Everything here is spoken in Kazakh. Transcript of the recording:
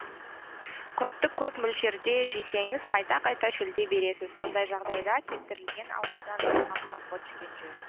құртты көп мөлшерде жесеңіз қайта қайта шөлдей бересіз ондай жағдайда кептірілген алмадан жасалған компот ішкен жөн